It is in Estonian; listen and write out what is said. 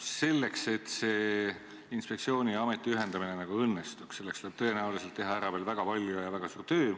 Selleks et see inspektsiooni ja ameti ühendamine õnnestuks, tuleb tõenäoliselt teha ära veel väga palju tööd.